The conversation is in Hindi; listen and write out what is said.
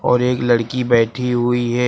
और एक लड़की बैठी हुई है।